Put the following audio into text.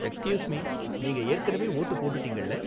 Excuse me, நீங்க ஏற்கனவே vote போட்டுட்டீங்கள்ல?